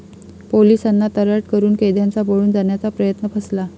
पोलिसांना 'तर्राट' करून कैद्यांचा पळून जाण्याचा प्रयत्न फसला